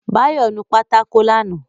Báyọ̀ nu pátákó lánàá